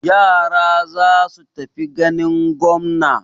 Yara za su tafi ganin gwamna.